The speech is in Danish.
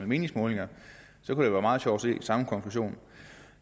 meningsmålinger det kunne være meget sjovt til samme konklusion